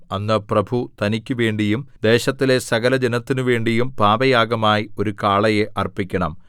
അന്ന് പ്രഭു തനിക്കുവേണ്ടിയും ദേശത്തിലെ സകലജനത്തിനു വേണ്ടിയും പാപയാഗമായി ഒരു കാളയെ അർപ്പിക്കണം